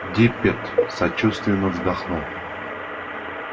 диппет сочувственно вздохнул